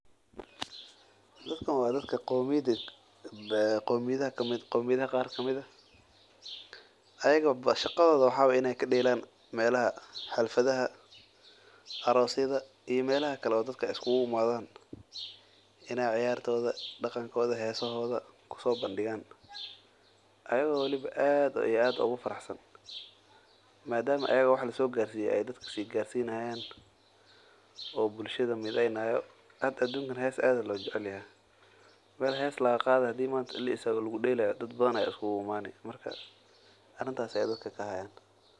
Dadkan waa dad qomiyad qaar kamid ah shaqadooda waa inaay ka deelan meelaha dadka iskiugu imaadan ayago aad ugu faraxsan nadama aay dadka nideynayaan madama aad loo jecel yahay marka arintaas ayeey dadka ka haayan.